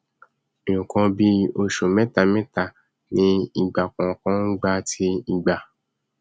nkan bíì ọsù mẹtamẹta ni ìgbà kọọkan ngbà tí ìgbà